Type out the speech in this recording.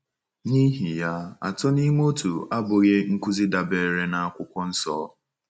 N’ihi ya, Atọ n’Ime Otu abụghị nkụzi dabeere n’Akwụkwọ Nsọ.